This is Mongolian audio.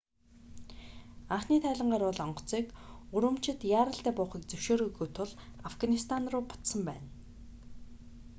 анхны тайлангаар бол онгоцыг урумчид яаралтай буухыг зөвшөөрөөгүй тул афганистан руу буцсан байна